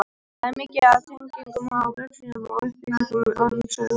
Þar er mikið af tengingum á vefsíður með upplýsingum um sögu tölvunnar.